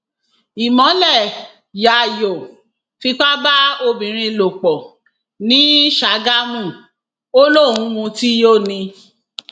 irú ìbùnú um wo rèé nítorí ọrọ tí kò um tó nǹkan fraiday gún ọrẹ ẹ pa